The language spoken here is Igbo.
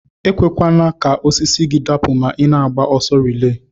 Ekwekwana ka osisi gi dapu ma ina agba ọsọ relay.